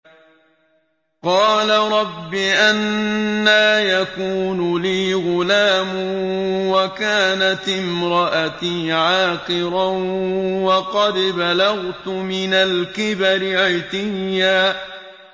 قَالَ رَبِّ أَنَّىٰ يَكُونُ لِي غُلَامٌ وَكَانَتِ امْرَأَتِي عَاقِرًا وَقَدْ بَلَغْتُ مِنَ الْكِبَرِ عِتِيًّا